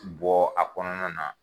Bɔ a kɔnɔna na